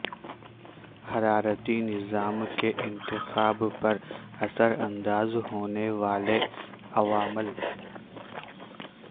حرارتی نظام کے انتخاب پر اثر انداز ہونے والے عوامل